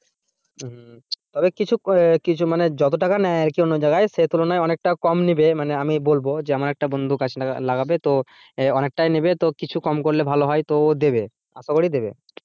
তবে কিছু কিছু মানে যত টাকা নেয় আর কি অন্য জায়গায় সেই তুলনায় অনেকটাই কম নেবে মানে আমি বলব যে আমার একটা বন্ধু গাছ লাগাবে তো অনেকটাই নেবে তো কিছু কম করলে ভালো হয় তো দেবে। আশা করি দেবে।